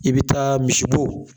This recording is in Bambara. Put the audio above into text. I bɛ taa misibo